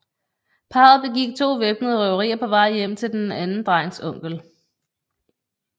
Parret begik to væbnede røverier på vej hjem til den anden drengs onkel